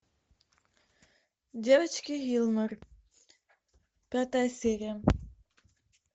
девочки гилмор пятая серия